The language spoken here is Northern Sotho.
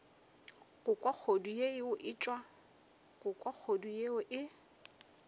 go kwa kgodu yeo e